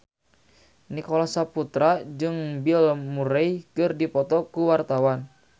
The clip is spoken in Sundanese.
Nicholas Saputra jeung Bill Murray keur dipoto ku wartawan